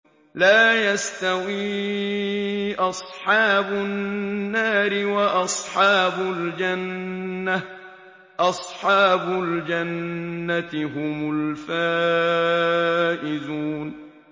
لَا يَسْتَوِي أَصْحَابُ النَّارِ وَأَصْحَابُ الْجَنَّةِ ۚ أَصْحَابُ الْجَنَّةِ هُمُ الْفَائِزُونَ